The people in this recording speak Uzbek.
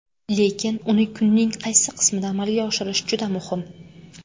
Lekin uni kunning qaysi qismida amalga oshirish juda muhim.